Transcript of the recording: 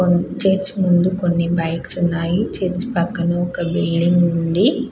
Church ముందు కొన్ని bikes ఉన్నాయి చర్చి పక్కన ఒక బిల్డింగ్ ఉంది .